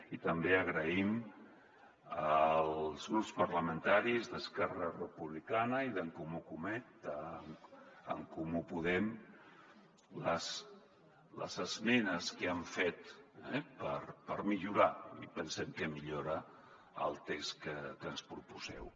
i també agraïm als grups parlamentaris d’esquerra republicana i d’en comú podem les esmenes que han fet per millorar i pensem que milloren el text que ens proposeu